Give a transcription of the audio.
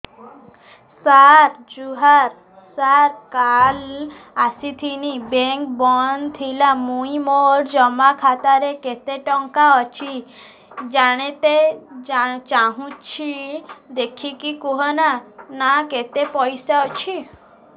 ସାର ଜୁହାର ସାର କାଲ ଆସିଥିନି ବେଙ୍କ ବନ୍ଦ ଥିଲା ମୁଇଁ ମୋର ଜମା ଖାତାରେ କେତେ ଟଙ୍କା ଅଛି ଜାଣତେ ଚାହୁଁଛେ ଦେଖିକି କହୁନ ନା କେତ ପଇସା ଅଛି